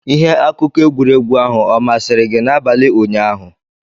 Ihe akụkọ egwuregwu ahụ ọ masịrị gị n'abalị ụnyaahụ?